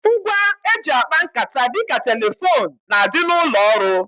Ngwa e ji akpa nkata dịka telefone n'adi n'ụlọ ọrụ